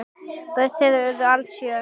Börn þeirra urðu alls sjö.